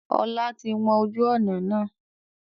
Ọlá tí wọn ojú ọnà náà.